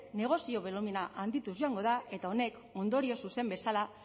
negozio bolumena handituz joango da eta honek ondorio zuzen bezala